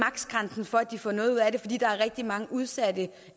grænsen for at de får noget ud af det fordi der er rigtig mange udsatte